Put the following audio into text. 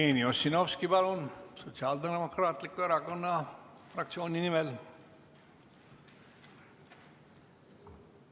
Jevgeni Ossinovski, palun, Sotsiaaldemokraatliku Erakonna fraktsiooni nimel!